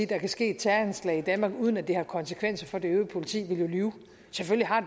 der kan ske et terroranslag i danmark uden at det har konsekvenser for det øvrige politi ville jo lyve selvfølgelig har